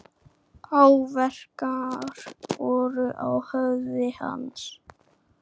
Áverkar voru á höfði hans.